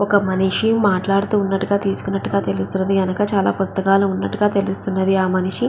ఒక మనిషి మాట్లాడుతూన్నట్టుగా తీసుకున్నట్టుగా తెలుస్తున్నది ఎనుక చాలా పుస్తకాలు ఉన్నట్టుగా తెలుస్తుంది ఆ మనిషి --